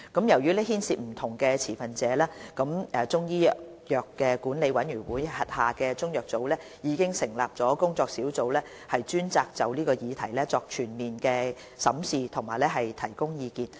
由於牽涉不同持份者，中醫藥管理委員會轄下中藥組已成立工作小組專責就此議題作全面審視並提供意見。